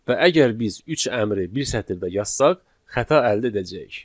Və əgər biz üç əmri bir sətirdə yazsaq, xəta əldə edəcəyik.